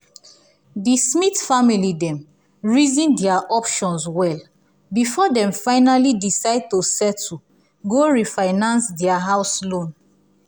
the smith family dem reason their options well before dem finally decide to settle go refinance their house loan.